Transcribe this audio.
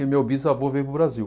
E o meu bisavô veio para o Brasil.